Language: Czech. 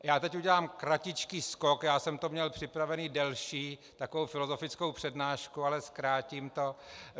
Já teď udělám kratičký skok, já jsem to měl připravené delší, takovou filozofickou přednášku, ale zkrátím to.